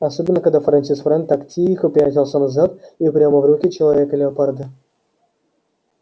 особенно когда фрэнсис фрэн так тихо пятился назад и прямо в руки человека-леопарда